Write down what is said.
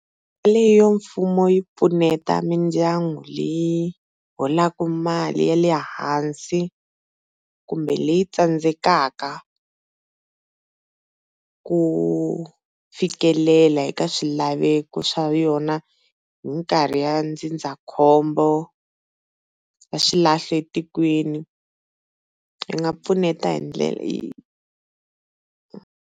Leyi ya mfumo yi pfuneta mindyangu leyi holaka mali ya lehansi kumbe leyi tsandzekaka ku fikelela eka swilaveko swa yona hi minkarhi ya ndzindzakhombo ra swilahlo etikweni ri nga pfuneta hi ndlela .